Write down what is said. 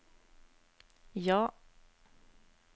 ja